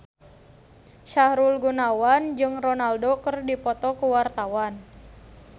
Sahrul Gunawan jeung Ronaldo keur dipoto ku wartawan